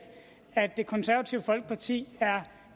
at det konservative folkeparti er